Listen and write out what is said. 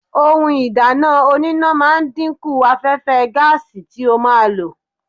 Ohun ìdáná oníná ma ń dínkù afẹ́fẹ́ gáàsì tí o ma lò.